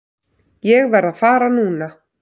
Ég verð að fara núna!